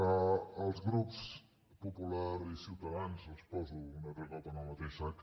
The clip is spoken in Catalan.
als grups popular i de ciutadans els poso un altre cop en el mateix sac